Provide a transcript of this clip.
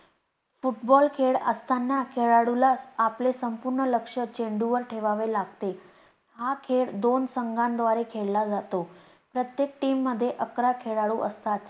football खेळत असताना, खेळाडूला आपले संपूर्ण लक्ष चेंडू वर ठेवावे लागते. हा खेळ दोन संघांद्वारे खेळला जातो. प्रत्येक team मध्ये अकरा खेळाडू असतात.